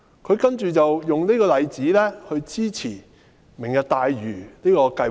他接着用這個例子來支持"明日大嶼"計劃。